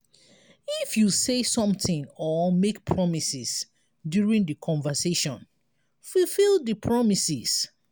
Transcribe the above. if you say something or make promises during di conversation fulfill di promises